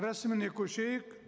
рәсіміне көшейік